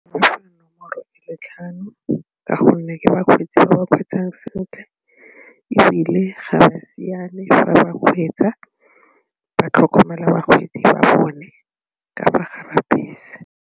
Le tlhano ka gonne ke bakgweetsi ba ba kgweetsang sentle ebile ga ba siane fa ba kgweetsa, ba tlhokomela bakgweetsi ba bone ka fa gare ga bese.